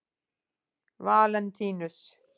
Valentínus